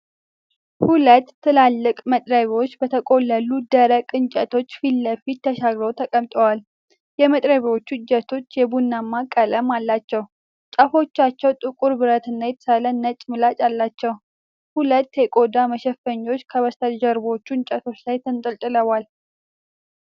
ሁለት ትላልቅ መጥረቢያዎች በተቆለሉ ደረቅ እንጨቶች ፊትለፊት ተሻግረው ተቀምጠዋል። የመጥረቢያዎቹ እጀታዎች የቡናማ ቀለም አላቸው፣ ጫፎቻቸው ጥቁር ብረት እና የተሳለ ነጭ ምላጭ አላቸው። ሁለት የቆዳ መሸፈኛዎች ከበስተጀርባዎቹ እንጨቶች ላይ ተንጠልጥለዋል።